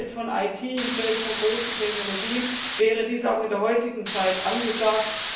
Im Feld von IT, im Feld von großen Technologien wäre dies auch in der heutigen Zeit angesagt.